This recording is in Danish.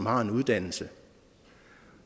har en uddannelse